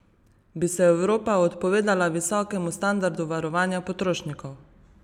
Bi se Evropa odpovedala visokemu standardu varovanja potrošnikov?